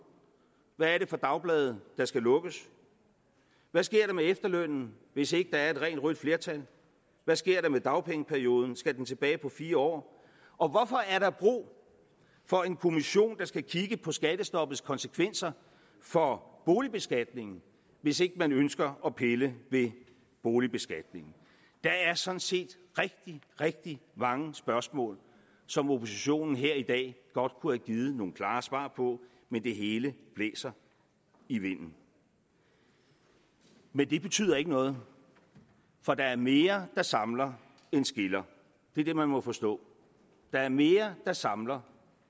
hvad er det for dagblade der skal lukkes hvad sker der med efterlønnen hvis ikke der er et rent rødt flertal hvad sker der med dagpengeperioden skal den tilbage på fire år og hvorfor er der brug for en kommission der skal kigge på skattestoppets konsekvenser for boligbeskatningen hvis ikke man ønsker at pille ved boligbeskatningen der er sådan set rigtig rigtig mange spørgsmål som oppositionen her i dag godt kunne have givet nogle klare svar på men det hele blæser i vinden men det betyder ikke noget for der er mere der samler end skiller det er det man må forstå der er mere der samler